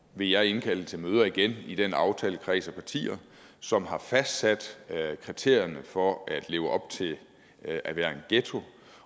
vil jeg indkalde til møder igen i den aftalekreds af partier som har fastsat kriterierne for at leve op til at være en ghetto